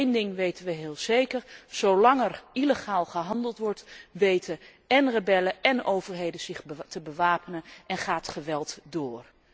Want één ding weten wij heel zeker, zolang er illegaal gehandeld wordt weten én rebellen én overheden zich te bewapenen en gaat het geweld door.